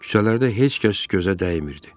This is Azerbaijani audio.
Küçələrdə heç kəs gözə dəymirdi.